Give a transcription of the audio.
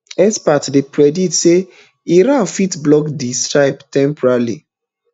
experts don dey predict say iran fit block di strait temporarily